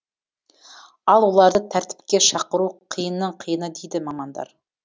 ал оларды тәртіпке шақыру қиынның қиыны дейді мамандар